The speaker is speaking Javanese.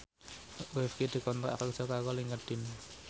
Rifqi dikontrak kerja karo Linkedin